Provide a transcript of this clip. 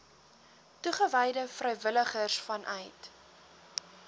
toegewyde vrywilligers vanuit